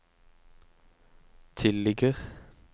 tilligger